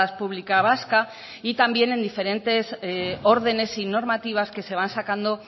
pública vasca y también en diferentes órdenes y normativas que se van sacando